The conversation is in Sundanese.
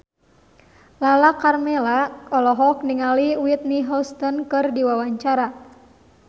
Lala Karmela olohok ningali Whitney Houston keur diwawancara